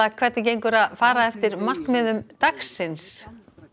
hvernig gengur að fara eftir markmiðum dagsins